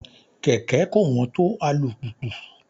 Kẹ̀kẹ́ kò wọ́n tó alùpùpù.